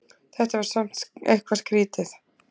Þetta var samt eitthvað skrítið.